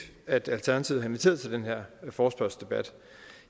at alternativet har inviteret til den her forespørgselsdebat